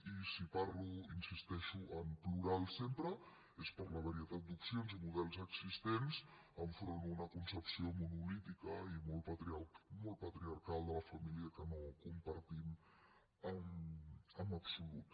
i si parlo hi insisteixo en plural sempre és per la varietat d’opcions i models existents enfront d’una concepció monolítica i molt patriarcal de la família que no com·partim en absolut